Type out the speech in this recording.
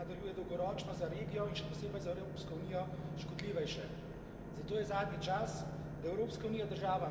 In tu je Kitajska, ki deluje morda tiše in modreje, a deluje dolgoročno za regijo in še posebej za Evropsko unijo škodljivejše.